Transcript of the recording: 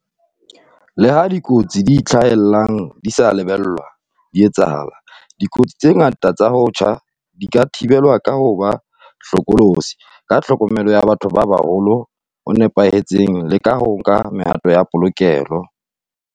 Leha dikotsi tse itlhahelang di sa lebellwa di etsahala, dikotsi tse ngata tsa ho tjha di ka thibelwa ka ho ba hlokolosi, ka tlhokomelo ya batho ba baholo e nepahetseng le ka ho nka mehato ya polokeho.